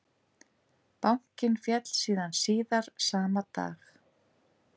Bankinn féll síðan síðar sama dag